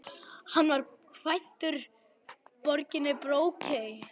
Hann var kvæntur Láru Vigfúsdóttur frá Brokey.